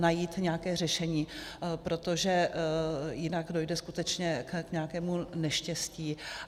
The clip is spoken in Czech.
Najít nějaké řešení, protože jinak dojde skutečně k nějakému neštěstí.